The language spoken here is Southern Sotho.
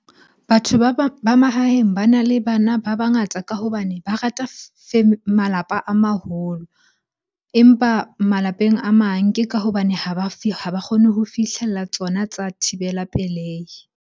Batho ba ba mahaeng bana le bana ba bangata ka hobane ba rata malapa a maholo. Empa malapeng a mang ke ka hobane ha ba ha ba kgone ho fihlella tsona tsa thibela pelehi.